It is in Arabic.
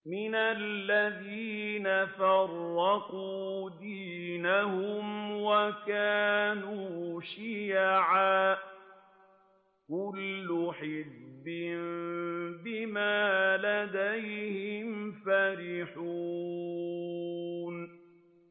مِنَ الَّذِينَ فَرَّقُوا دِينَهُمْ وَكَانُوا شِيَعًا ۖ كُلُّ حِزْبٍ بِمَا لَدَيْهِمْ فَرِحُونَ